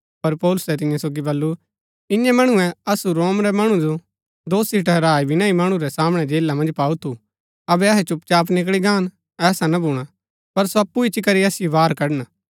पर पौलुसै तियां सोगी बल्लू ईंयैं मणुऐ असु रोम रै मणुओ दोषी ठहराए विना ही मणु रै सामणै जेला मन्ज पाऊ थु अबै अहै चुपचाप निकळी गान ऐसा ना भूणा पर सो अप्पु इच्ची करी असिओ बाहर कड़न